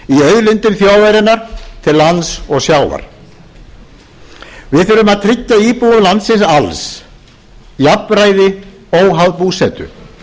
auðlindum þjóðarinnar til lands og sjávar við þurfum að tryggja íbúum landsins alls jafnræði óháð búsetu